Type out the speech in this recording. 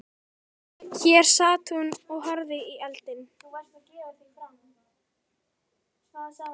Hér sat hún og horfði í eldinn.